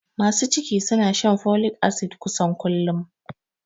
Masu ciki suna shan folik asid kusan kullum